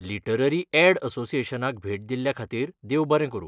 Literary aid असोसिएशनाक भेट दिल्ल्याखातीर देव बरें करूं.